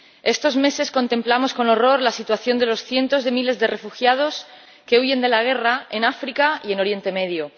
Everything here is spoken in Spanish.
Estos meses contemplamos con horror la situación de los cientos de miles de refugiados que huyen de la guerra en África y en Oriente Próximo.